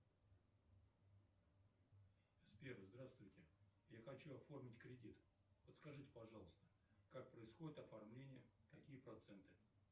сбер здравствуйте я хочу оформить кредит подскажите пожалуйста как происходит оформление какие проценты